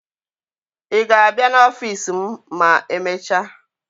Ị ga-abịa n'ọfiisi m ma e mecha?